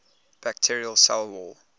bacterial cell wall